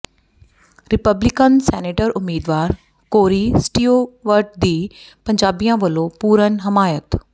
Republican senator ਉਮੀਦਵਾਰ Corey Stewart ਦੀ ਪੰਜਾਬੀਆਂ ਵਲੋਂ ਪੂਰਨ ਹਮਾਇਤ